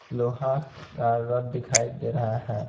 लोहा का रथ दिखाई दे रहा है.